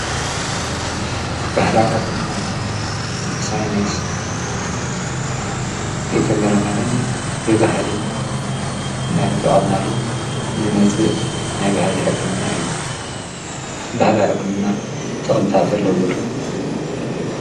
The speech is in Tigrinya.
ባሕላዊ ሕክምና ማለፍ ብሳይናይስ ይተመረመርን ብብህሊ ናቲ ጥቐምናሉ ንመጽእ ናይ ብሃሊ ሕክምና እዩ በህላዊ ሕክምና ጥቕምታት ኣለወሉ።